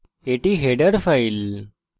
এটি header file